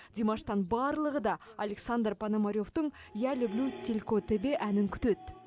димаштан барлығы да александр пономаревтің я люблю тільки тебе әнін күтеді